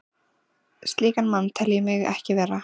Slíkan mann tel ég mig ekki vera.